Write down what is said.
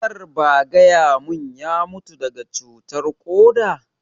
Kar ba gaya mun ya mutu daga cutar koda?